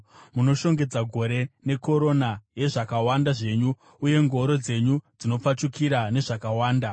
Munoshongedza gore nekorona yezvakawanda zvenyu, uye ngoro dzenyu dzinopfachukira nezvakawanda.